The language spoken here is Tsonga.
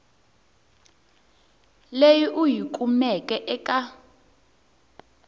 leyi u yi kumeke eka